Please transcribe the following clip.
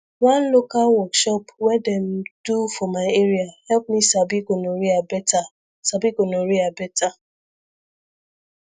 one local workshop when them do for my area help me sabi gonorrhea better sabi gonorrhea better